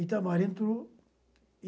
O Itamar entrou.